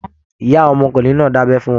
Ìyá àwọn ọmọkùnrin náà dabẹ fún wọn.